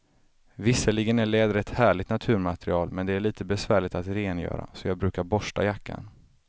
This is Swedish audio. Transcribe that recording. Visserligen är läder ett härligt naturmaterial, men det är lite besvärligt att rengöra, så jag brukar borsta jackan.